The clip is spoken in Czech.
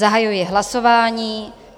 Zahajuji hlasování.